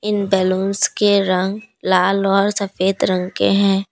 Balloons के रंग लाल और सफेद रंग के है।